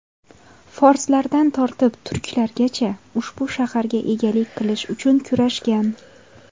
Forslardan tortib turklargacha ushbu shaharga egalik qilish uchun kurashgan.